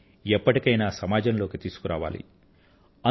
వారిని ఎప్పటికైనా సమాజంలోకి తీసుకురావాలి